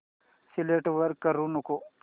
select करू नको